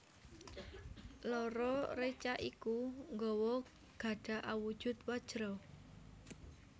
Loro reca iku nggawa gada awujud Wajra